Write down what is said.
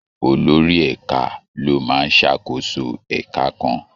Olórí ẹ̀ka ló máa ń ṣàkóso ẹka kan.